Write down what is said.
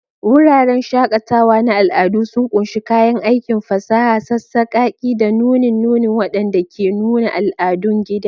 Wuraren shakatawa na al'adu sun ƙunshi kayan aikin fasaha, sassakaki, da nunin nuni waɗanda ke nuna al'adun gida.